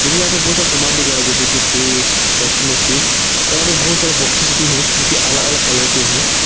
मुझे यहां पर बहुत सारा समान दिख रहा है जैसे की फ्रिज वाशिंग मशीन और यहां पर बहुत सारे बॉक्सेस भी हैं जो हो अलग अलग कलर के है।